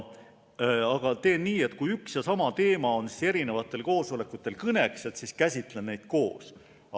Teen nii, et kui üks ja sama teema oli mitmel koosolekul kõneks, siis käsitlen neid koos.